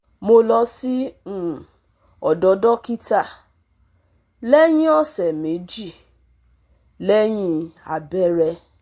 Mo lọ sí um ọdọ dókítà lẹ́yìn ọ̀sẹ̀ méjì lẹ́yìn abẹrẹ